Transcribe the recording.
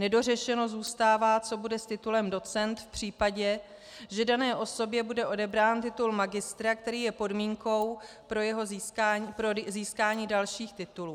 Nedořešeno zůstává, co bude s titulem docent v případě, že dané osobě bude odebrán titul magistra, který je podmínkou pro získání dalších titulů.